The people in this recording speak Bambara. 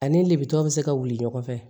Ani libe bɛ se ka wuli ɲɔgɔn fɛ